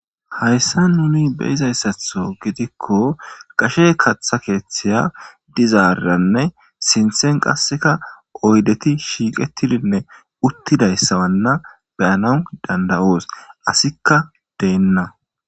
Hayssa nuni beizayssatho gidikko qashe katha keeththiya dizaaranne sinthen qasseka oydeti shiiqetidinne uttidayssawanna beyana danda'oos asikka deenna.